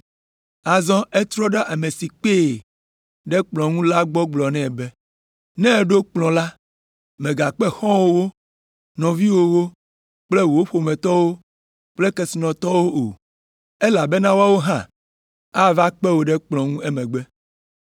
Azɔ etrɔ ɖe ame si kpee ɖe kplɔ̃ ŋu la gbɔ gblɔ nɛ be, “Ne èɖo kplɔ̃ la, mègakpe xɔ̃wòwo, nɔviwòwo kple wò ƒometɔwo kple kesinɔtɔwo o. Elabena woawo hã ava kpe wò ɖe kplɔ̃ ŋu emegbe.